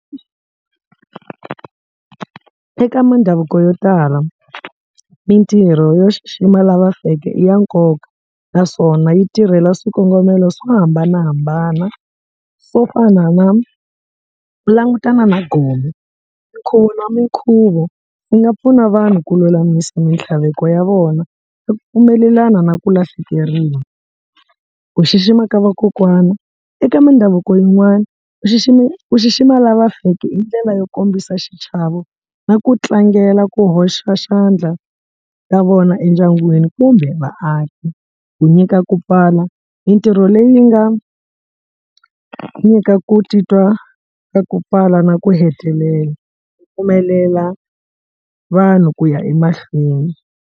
Eka mindhavuko yo tala mintirho yo xixima lava feke i ya nkoka naswona yi tirhela swikongomelo swo hambanahambana swo fana na ku langutana na gome minkhuvo na minkhuvo yi nga pfuna vanhu ku lulamisa mintlhaveko ya vona yo pfumelelana na ku lahlekeriwa ku xixima ka vakokwana eka mindhavuko yin'wana ku xiximama lava feke i ndlela yo kombisa xichavo na ku tlangela ku hoxa xandla ka vona endyangwini kumbe vaaki ku nyika ku pfala mintirho leyi nga nyika ku titwa ka ku pfala na ku hetelela yi pfumelela vanhu ku ya emahlweni.